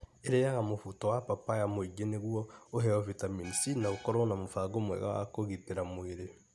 Iriaga mũbuto wa papaya mũingĩ nĩguo ũheo bitamini C na ũkorũo na mũbango mwega wa kũgitĩra mwĩrĩ.